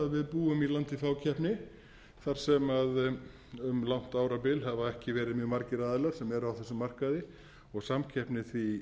við búum í landi fákeppni þar sem um langt árabil hafa ekki verið mjög margir aðilar sem eru á þessum markaði og samkeppni því